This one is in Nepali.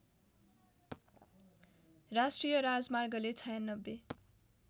राष्ट्रिय राजमार्गले ९६